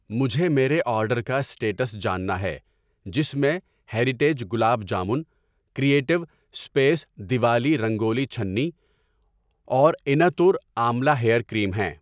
مجھے میرے آرڈر کا اسٹیٹس جاننا ہے جس میں heritage gulab jamun, creative space Diwali rangoli چھنی اور اینَتور آملا ہیئر کریم ہیں۔